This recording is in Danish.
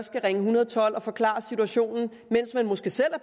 skal ringe en hundrede og tolv og forklare situationen mens man måske selv